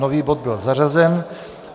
Nový bod byl zařazen.